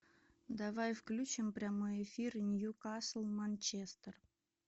давай включим прямой эфир ньюкасл манчестер